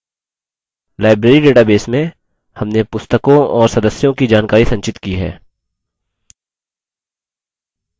library database में हमने पुस्तकों और सदस्यों की जानकारी संचित की है